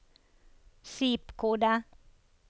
zip-kode